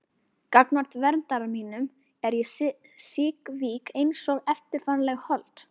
Gagnvart verndara mínum er ég síkvik einsog eftirgefanlegt hold.